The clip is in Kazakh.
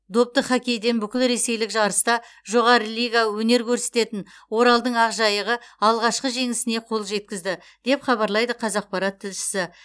допты хоккейден бүкілресейлік жарыста жоғары лига өнер көрсететін оралдың ақжайығы алғашқы жеңісіне қол жеткізді деп хабарлайды қазақпарат тілшісі